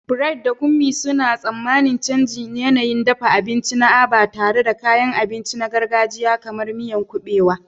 Bright da Kunmi suna tsammanin canjin yanayin dafa abinci na Aba, tare da kayan abinci na gargajiya kamar miyan kubewa.